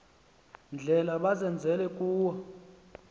ndlela bazenzele kuwo